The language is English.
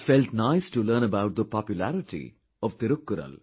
It felt nice to learn about the popularity of Thirukkural